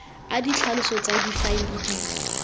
a ditlhaloso tsa difaele di